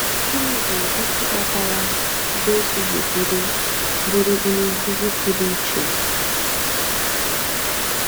Gịnị bụ isi kpatara Jésù ji bụrụ bụrụ onye nkuzi pụrụ iche?